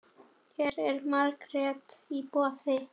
Hér er margt í boði.